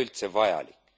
üldse vajalik.